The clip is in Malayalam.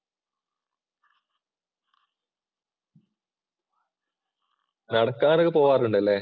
നടക്കാറൊക്കെ പോവാറുണ്ടല്ലേ?